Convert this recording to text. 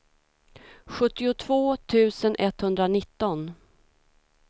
sjuttiotvå tusen etthundranitton